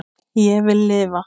Ég vil lifa